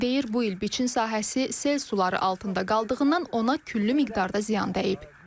Deyir bu il biçin sahəsi sel suları altında qaldığından ona küllü miqdarda ziyan dəyib.